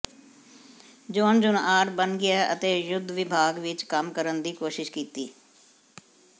John junior ਬਣ ਗਿਆ ਅਤੇ ਯੁੱਧ ਵਿਭਾਗ ਵਿਚ ਕੰਮ ਕਰਨ ਦੀ ਕੋਸ਼ਿਸ਼ ਕੀਤੀ